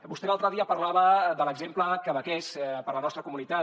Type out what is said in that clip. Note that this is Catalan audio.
vostè l’altre dia parlava de l’exemple quebequès per a la nostra comunitat